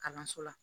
Kalanso la